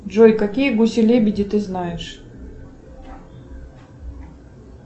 джой какие гуси лебеди ты знаешь